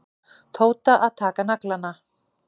Tóta að taka naglana.